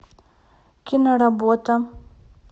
киноработа